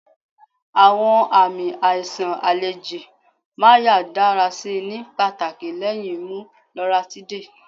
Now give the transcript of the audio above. Awọn aami aiṣan aleji Marya dara si ni pataki lẹhin mu Loratiday